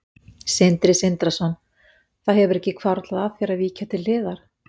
Sindri Sindrason: Það hefur ekki hvarflað að þér að víkja til hliðar?